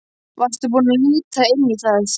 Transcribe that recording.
Varstu búinn að líta inn í það?